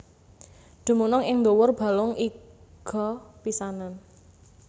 Dumunung ing ndhuwur balung iga pisanan